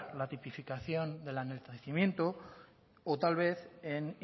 la tipificación del enaltecimiento o tal vez en